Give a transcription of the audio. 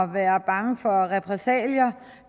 være bange for repressalier